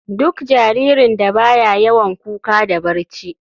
Duk jaririn da baya yawan kuka da barci.